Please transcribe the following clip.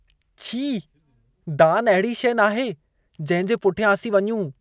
छी! दानु अहिड़ी शइ नाहे जंहिंजे पुठियां असीं वञूं।